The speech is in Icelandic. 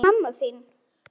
En mamma þín?